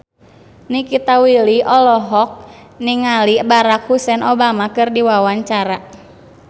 Nikita Willy olohok ningali Barack Hussein Obama keur diwawancara